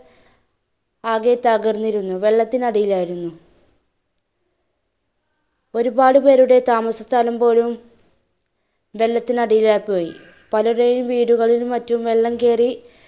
ആകെ തകർന്നിരുന്നു വെള്ളത്തിന് അടിയിലായിരുന്നു. ഒരുപാട് പേരുടെ താമസസ്ഥലം പോലും വെള്ളത്തിനടിയിലായി പോയി, പലരുടേയും വീടുകളിൽ മറ്റും വെള്ളം കേറി